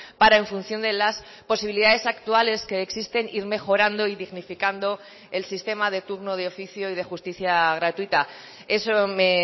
para en función de las posibilidades actuales que existen ir mejorando y dignificando el sistema de turno de oficio y de justicia gratuita eso me